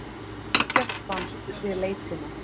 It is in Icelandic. Ekkert fannst við leitina.